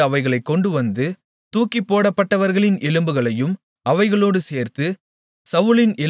அங்கே இருந்து அவைகளைக் கொண்டுவந்து தூக்கிப்போடப்பட்டவர்களின் எலும்புகளையும் அவைகளோடு சேர்த்து